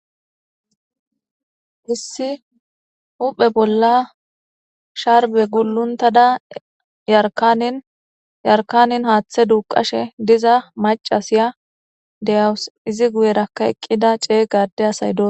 issi huphe bolla sharbe guluntada yarkanin yarkanin haaththe duuqashe diza macasiya deyawus izi guyerakka eqqida cey gade asay doos